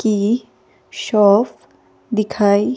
की शॉफ दिखाई--